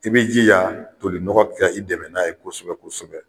I b'i jija toli nɔgɔ ka i dɛmɛ n'a ye kosɛbɛ kosɛbɛ.